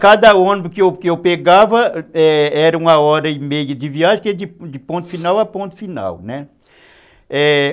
Cada ônibus que eu que eu pegava era uma hora e meia de viagem, que é de ponto final a ponto final, né?